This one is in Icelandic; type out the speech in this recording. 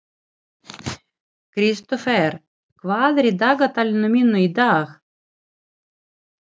Kristófer, hvað er í dagatalinu mínu í dag?